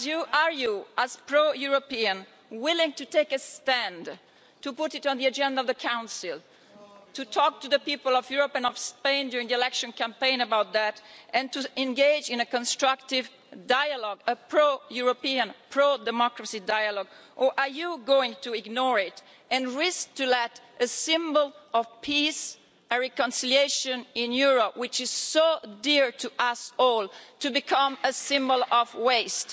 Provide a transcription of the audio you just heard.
Are you, as pro European, willing to take a stand, to put it on the agenda of the Council, to talk to the people of Europe and of Spain during the election campaign about that and to engage in a constructive dialogue a pro European, pro democracy dialogue or are you going to ignore it and risk letting a symbol of peace, a reconciliation in Europe which is so dear to us all, to become a symbol of waste?